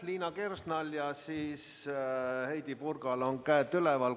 Liina Kersnal ja Heidy Purgal on käsi üleval.